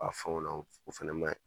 A fɛnw na o fɛnɛ ma ɲi